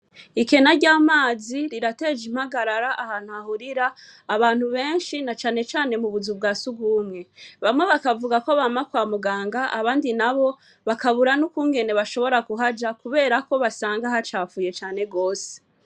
Ikena ry'amazi, rirateje impagarara ahantu hahurira abantu benshi, na cane cane mubuzu bwa sugumwe, bamwe bakavuga ko bama kwa muganga, abandi nabo, bakabura n'ukungene bashobora kuhaja kubera ko usanga hacafuye cane gose.